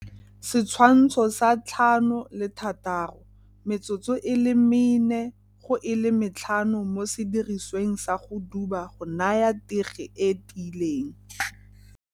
Setshwantsho sa 5 le 6 - Metsotso e le 4 go e le 5 mo sidirisweng sa go duba go naya tege e e tiileng.